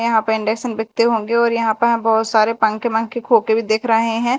यहां पे इंडक्शन बिकते होंगे और यह पे बहोत सारे पंखे वंखे खोके भी दिख रहे है।